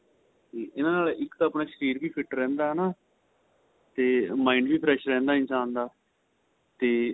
ਏਨਾ ਨਾਲ ਇੱਕ ਤਾਂ ਆਪਣਾ ਸ਼ਰੀਰ fit ਰਹਿੰਦਾ ਹੈਨਾ ਤੇ mind ਵੀ fresh ਰਹਿੰਦਾ ਇਨਸ਼ਾਨ ਦਾ ਤੇ